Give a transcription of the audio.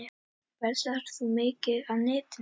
Verslar þú mikið á netinu?